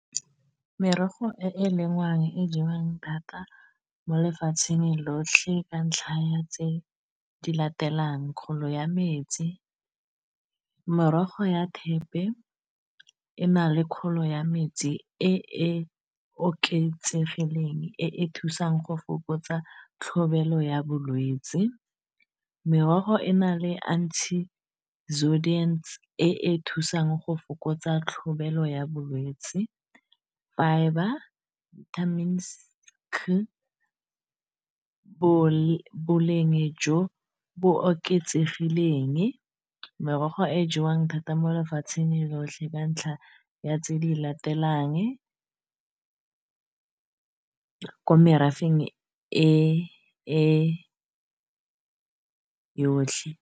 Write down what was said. Merogo e e lengwang e jewang thata mo lefatsheng lotlhe ka ntlha ya tse di latelang kgolo ya metsi morogo ya thepe e na le kgolo ya metsi e e oketsegileng e e thusang go fokotsa tlhobaelo ya bolwetsi merogo e na le anti sodiant e e thusang go fokotsa tlhobelo ya bolwetsi fibre vitamins c boleng jo bo oketsegileng merogo e jewang thata mo lefatsheng lotlhe ka ntlha ya tse di latelang ko merafeng e yotlhe.